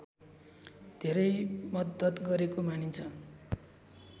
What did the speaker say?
धेरै मद्दत गरेको मानिन्छ